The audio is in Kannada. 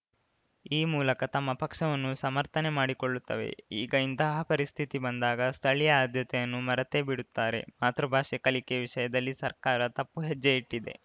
ಈ ಮೂಲಕ ತಮ್ಮ ಪಕ್ಷವನ್ನು ಸಮರ್ಥನೆ ಮಾಡಿಕೊಳ್ಳುತ್ತವೆ ಈಗ ಇಂತಹ ಪರಿಸ್ಥಿತಿ ಬಂದಾಗ ಸ್ಥಳೀಯ ಆದ್ಯತೆಯನ್ನು ಮರೆತೇಬಿಡುತ್ತಾರೆ ಮಾತೃಭಾಷೆ ಕಲಿಕೆ ವಿಷಯದಲ್ಲಿ ಸರ್ಕಾರ ತಪ್ಪು ಹೆಜ್ಜೆ ಇಟ್ಟಿದೆ